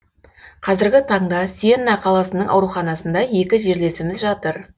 қазіргі таңда сиенна қаласының ауруханасында екі жерлесіміз жатыр